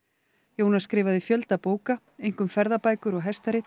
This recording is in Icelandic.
Jónas skrifaði fjölda bóka einkum ferðabækur og